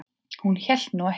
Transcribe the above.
Hún hélt nú ekki.